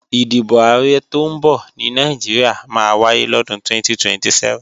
Ìdìbò Ààrẹ tọ́ ń bọ̀ ní Nàìjíríà máa wáyé lọ́dún 2027